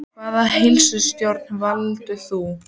Hvaða heilsutjóni valda þau?